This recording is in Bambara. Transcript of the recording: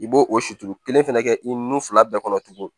I b'o o suturu kelen fɛnɛ kɛ i nun fila bɛɛ kɔnɔ tuguni